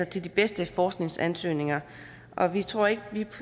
til de bedste forskningsansøgninger vi tror ikke